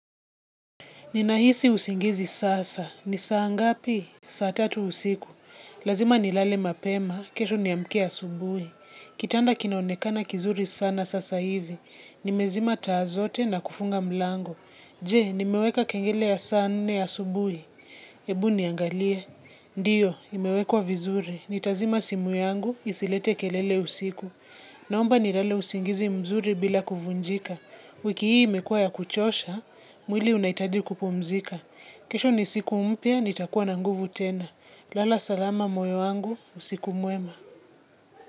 Ni nahisi usingizi sasa. Ni saa ngapi? Saa tatu usiku. Lazima nilale mapema. Kesho niamkie asubuhi. Kitanda kinaonekana kizuri sana sasa hivi. Nimezima taa zote na kufunga mlango. Je? Nimeweka kengele ya saa nne asubuhi. Ebu niangalie. Ndiyo, imewekwa vizuri. Nitazima simu yangu. Isilete kelele usiku. Naomba nilale usingizi mzuri bila kuvunjika. Wiki hii imekuwa ya kuchosha. Mwili unahitaji kupumzika. Kesho ni siku mpya, nitakuwa na nguvu tena. Lala salama moyo wangu, usiku mwema.